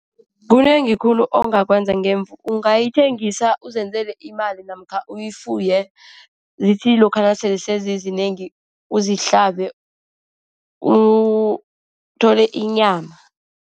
Kunengi khulu ongakwenza ngemvu ungayithengisa uzenzele iimali namkha uyifuye. Zithi lokha nasele sezizinengi uzihlabe, uthole inyama.